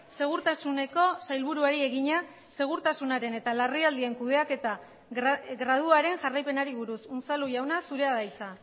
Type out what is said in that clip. segurtasuneko sailburuari egina segurtasunaren eta larrialdien kudeaketa graduaren jarraipenari buruz unzalu jauna zurea da hitza